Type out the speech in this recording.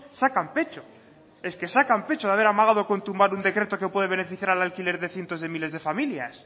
sacan pecho es que sacan pecho de haber amagado con tumbar un decreto que puede beneficiar al alquiler de cientos de miles de familias